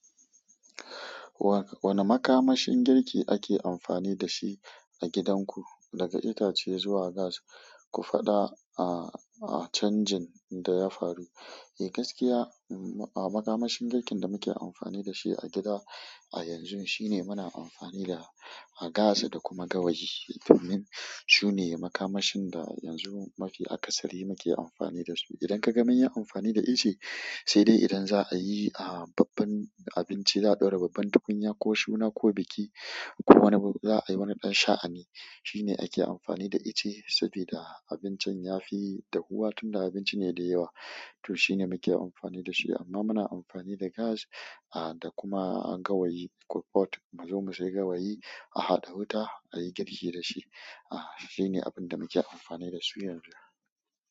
Wane makamashin girki ake amfani dashi a gidanku, daga itace zuwa gas, ku faɗa a canjin da ya faru? Eh gaskiya, makamashin girkin da muke amfani da shi a gida a yanzu shine muna amfani da gas da kuma gawayi. Domin sune makamashin da yanzu mafi akasari muke amfani dasu. Idan kaga munyi amfani da ice, sai dai idan za'a yi babban abinci, za'a ɗora babban tukunya ko suna ko biki ko wane abu, za'ayi wani ɗan sha'ani, shine ake amfani da ice. Saboda abincin ya fi dahuwa tun da abinci ne da yawa, to shi ne muke amfani da shi. Amma muna amfani da gas da kuma gawayi muzo mu sayi gawayi a bada wuta ayi girki dashi shine abunda muke amfani dasu yanzu.